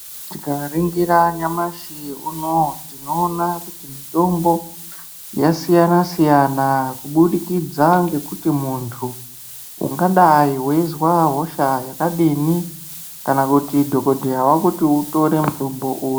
Tikaningira nyamashi unowu tinoona kuti mitombo yasiyana siyana kubudikidza ngekuti muntu ungadai weizwa hosha yakadini kana kuti dhokodheya Akuti utore mutombo uri.